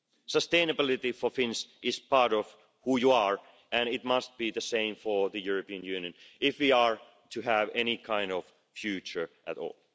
Sustainability for Finns is part of who you are, and it must be the same for the European Union if we are to have any kind of future at all.